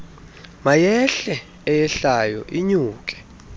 mayehle eyehlayo inyuke